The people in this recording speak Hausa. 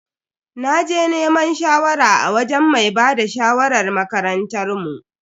Naje neman shawara a wajen mai bada shawarar makarantar mu.